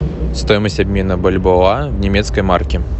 стоимость обмена бальбоа немецкой марки